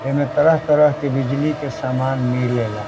एमे तरह-तरह के बिजली के समान मिलेला।